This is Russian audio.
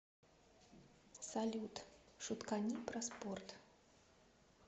салют шуткани про спорт